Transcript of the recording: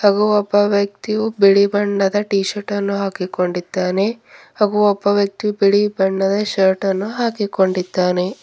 ಹಾಗು ಒಬ್ಬ ವ್ಯಕ್ತಿಯು ಬಿಳಿ ಬಣದ್ದ ಟೀಶರ್ಟ್ ಅನ್ನು ಹಾಕ್ಕಿಕೊಂಡಿದ್ದಾನೆ ಹಾಗೂ ಒಬ್ಬ ವ್ಯಕ್ತಿ ಬಿಳಿ ಬಣ್ಣದ ಶರ್ಟ್ ನ್ನು ಹಾಕಿಕೊಂಡಿದ್ದಾನೆ.